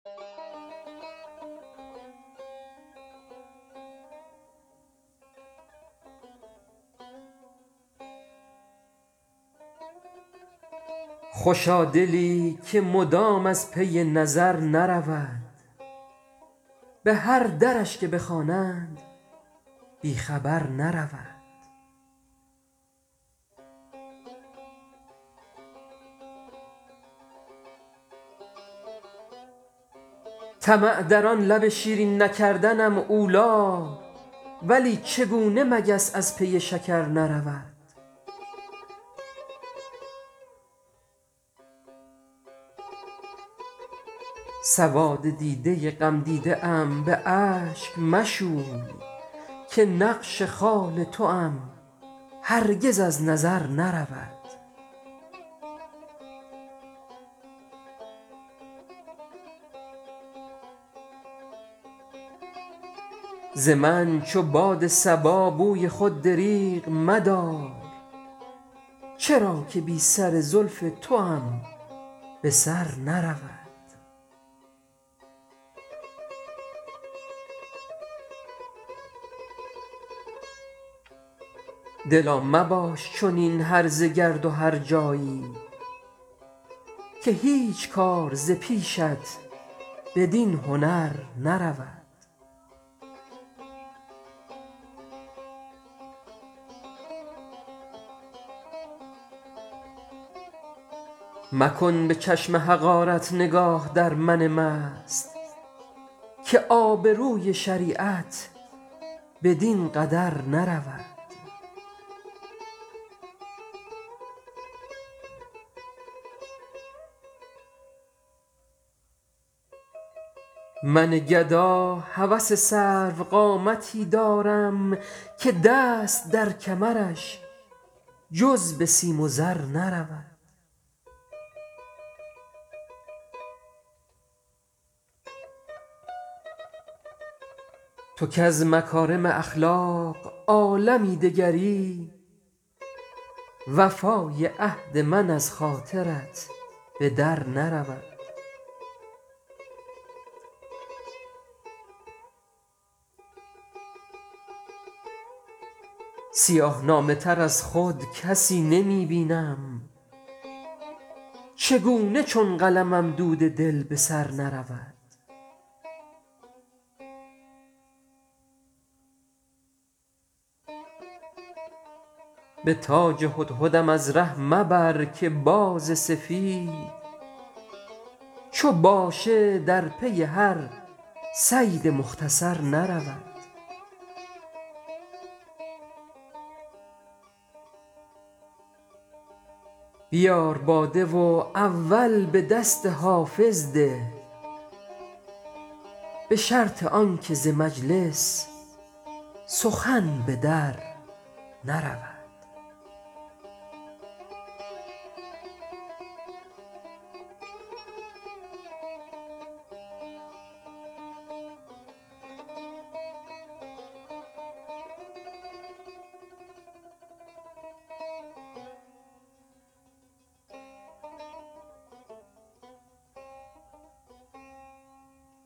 خوشا دلی که مدام از پی نظر نرود به هر درش که بخوانند بی خبر نرود طمع در آن لب شیرین نکردنم اولی ولی چگونه مگس از پی شکر نرود سواد دیده غمدیده ام به اشک مشوی که نقش خال توام هرگز از نظر نرود ز من چو باد صبا بوی خود دریغ مدار چرا که بی سر زلف توام به سر نرود دلا مباش چنین هرزه گرد و هرجایی که هیچ کار ز پیشت بدین هنر نرود مکن به چشم حقارت نگاه در من مست که آبروی شریعت بدین قدر نرود من گدا هوس سروقامتی دارم که دست در کمرش جز به سیم و زر نرود تو کز مکارم اخلاق عالمی دگری وفای عهد من از خاطرت به در نرود سیاه نامه تر از خود کسی نمی بینم چگونه چون قلمم دود دل به سر نرود به تاج هدهدم از ره مبر که باز سفید چو باشه در پی هر صید مختصر نرود بیار باده و اول به دست حافظ ده به شرط آن که ز مجلس سخن به در نرود